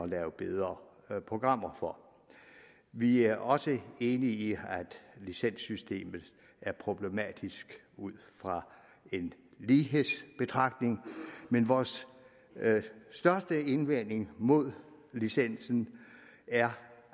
lave bedre programmer for vi er også enige i at licenssystemet er problematisk ud fra en lighedsbetragtning men vores største indvending mod licensen er